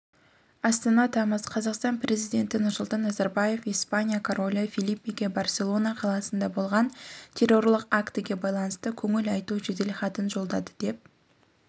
астана тамыз қазақстан президенті нұрсұлтан назарбаев испания королі фелипеге барселона қаласында болған террорлық актіге байланысты көңіл айту жеделхатын жолдады деп